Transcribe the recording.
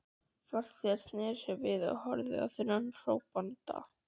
Farþegarnir sneru sér við og horfðu á þennan hrópanda.